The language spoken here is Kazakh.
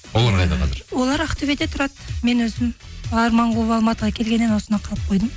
олар қайда қазір олар ақтөбеде тұрады мен өзім арман қуып алматыға келгеннен осында қалып қойдым